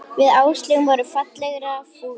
Við Áslaug vorum ferlega fúlar.